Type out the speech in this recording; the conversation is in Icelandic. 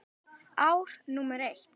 Ár númer eitt.